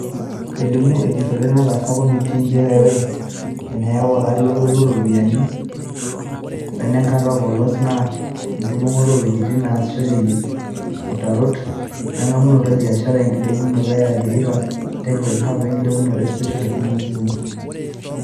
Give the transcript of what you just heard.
Elimu ejurore nataasa komitii njere ore enayau olari lolotu looropiyiani wenenkata e polos naa enkibungaroto oo wejitin naasishoreki utarot wengamunoto e biashara, enkilepunoto e Athi river textile hub wenkilepunoto e Special Economic Zones (SEZs).